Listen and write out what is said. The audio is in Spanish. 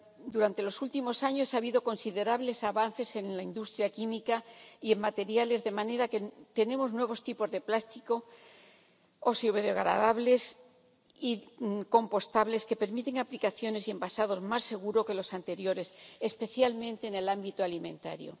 Durante los últimos años ha habido considerables avances en la industria química y de materiales, de manera que tenemos nuevos tipos de plástico biodegradables y compostables que permiten aplicaciones y envasados más seguros que los anteriores, especialmente en el ámbito alimentario.